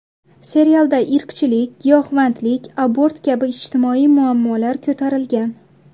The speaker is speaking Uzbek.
Serialda irqchilik, giyohvandlik, abort kabi ijtimoiy muammolar ko‘tarilgan.